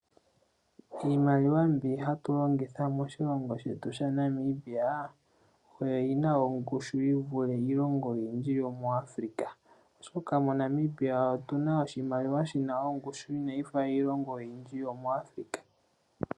Iimaliwa mbi hayi longithwa moNamibia, oyina ongushu yivule yiilongo oyindji muAfrika oshoka moNamibia omuna oshimaliwa shina ongushu inashi fa iilongo yomu Afrika.